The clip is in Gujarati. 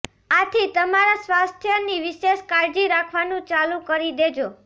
આથી તમારા સ્વાસ્થ્યની વિશેષ કાળજી રાખવાનું ચાલુ કરી દેજો